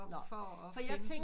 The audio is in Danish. For at finde